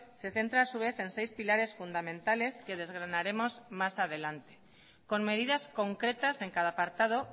se centra a su vez en seis pilares fundamentales que desgranaremos más adelante con medidas concretas en cada apartado